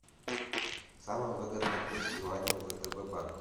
самый выгодный курс юаня в втб банке